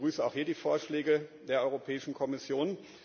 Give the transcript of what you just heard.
Ich begrüße auch hier die Vorschläge der Europäischen Kommission.